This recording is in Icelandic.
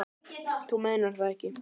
Þú meinar það ekki.